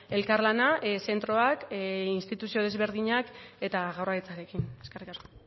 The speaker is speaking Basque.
elkarlana zentroak instituzio desberdinak eta jaurlaritzarekin eskerrik asko